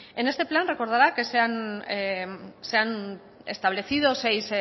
en este plan recordará que se han establecido seis